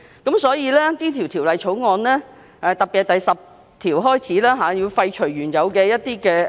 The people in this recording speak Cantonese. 因此，政府便透過《條例草案》特別是第10條，建議廢除部分原有條文，以便